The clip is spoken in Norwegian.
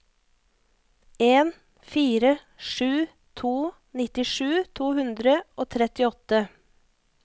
en fire sju to nittisju to hundre og trettiåtte